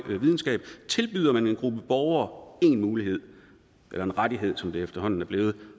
videnskab tilbyder man en gruppe borgere en mulighed eller en rettighed som det efterhånden er blevet